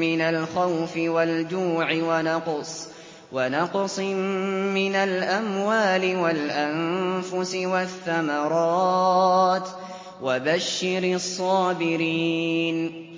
مِّنَ الْخَوْفِ وَالْجُوعِ وَنَقْصٍ مِّنَ الْأَمْوَالِ وَالْأَنفُسِ وَالثَّمَرَاتِ ۗ وَبَشِّرِ الصَّابِرِينَ